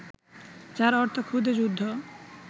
যার অর্থ খুদে যুদ্ধ